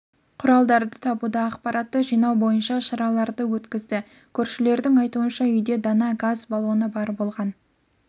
құралдарды табуда ақпаратты жинау бойынша шараларды өткізді көршілердің айтуынша үйде дана газ балоны бар болған